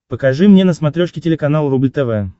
покажи мне на смотрешке телеканал рубль тв